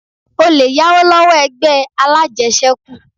O lè yáwó lọ́wọ́ ẹgbẹ́ alájẹsẹ́kù